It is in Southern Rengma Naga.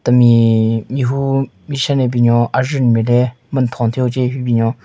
Temi mehvu meshen ne binyon ajvunyu nme le men nthon thyu hon che hyu binyon.